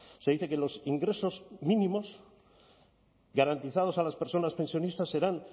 se dice que los ingresos mínimos garantizados a las personas pensionistas serán